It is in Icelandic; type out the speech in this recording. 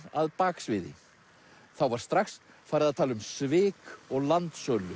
að baksviði þá var strax farið að tala um svik og